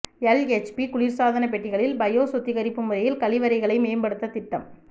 LHB குளிா்சாதன பெட்டிகளில் bio சுத்திகரிப்பு முறையில் கழிவறைகளை மேம்படுத்த திட்டம்